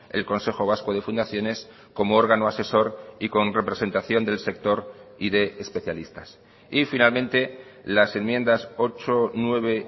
el consejo vasco de fundaciones como órgano asesor y con representación del sector y de especialistas y finalmente las enmiendas ocho nueve